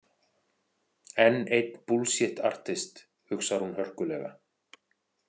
Enn einn búllsjitt artist, hugsar hún hörkulega.